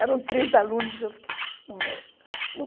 Eram trinta alunos e eu fiquei assim no meio.